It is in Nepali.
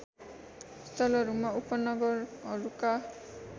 स्थलहरूमा उपनगरहरूका